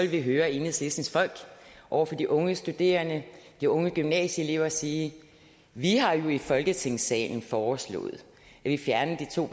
vi høre enhedslisten over for de unge studerende de unge gymnasieelever sige vi har jo i folketingssalen foreslået at vi fjernede